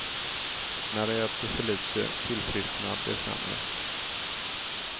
När de äter för lite, tillfrisknar de sämre.